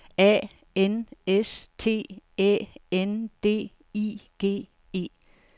A N S T Æ N D I G E